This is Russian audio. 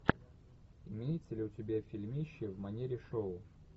имеется ли у тебя фильмище в манере шоу